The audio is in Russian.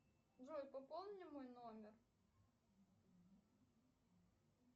джой пополни мой номер